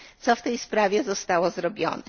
Co w tej sprawie zostało zrobione?